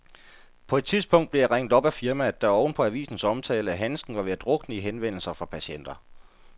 På et tidspunkt blev jeg ringet op af firmaet, der oven på avisens omtale af handsken var ved at drukne i henvendelser fra patienter.